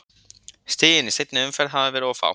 Stigin í seinni umferð hafa verið of fá.